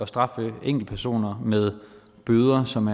straffe enkeltpersoner med bøder som